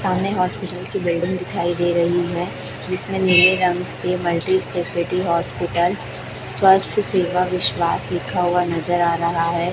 सामने हॉस्पिटल की बिल्डिंग दिखाई दे रही है जिसमें नीले रंग के मल्टी स्पेशलिटी हॉस्पिटल स्वास्थ्य सेवा विश्वास लिखा हुआ नजर आ रहा है।